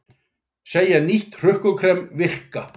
Segja nýtt hrukkukrem virka